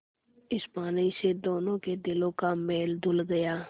इस पानी से दोनों के दिलों का मैल धुल गया